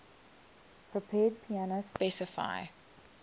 prepared piano specify